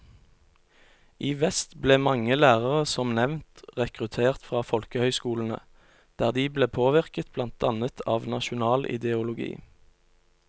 I vest ble mange lærere som nevnt rekruttert fra folkehøyskolene, der de ble påvirket blant annet av nasjonal ideologi.